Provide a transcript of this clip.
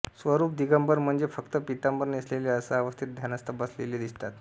स्वरूप दिगंबर म्हणजे फक्त पितांबर नेसलेले असा अवस्थेत ध्यानस्थ बसलेले दिसतात